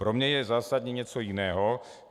Pro mě je zásadní něco jiného.